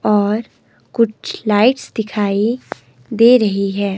और कुछ लाइट्स दिखाई दे रही है।